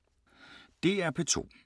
DR P2